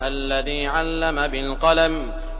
الَّذِي عَلَّمَ بِالْقَلَمِ